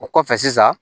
O kɔfɛ sisan